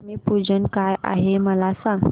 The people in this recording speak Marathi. लक्ष्मी पूजन काय आहे मला सांग